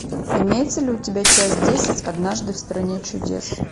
имеется ли у тебя часть десять однажды в стране чудес